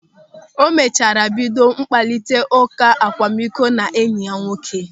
O mechara bido mkparịta ụka akwamikọ ya na enyi ya nwoke.